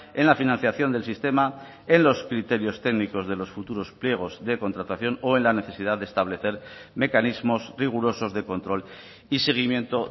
en la financiación del sistema en los criterios técnicos de los futuros pliegos de contratación o en la necesidad de establecer mecanismos rigurosos de control y seguimiento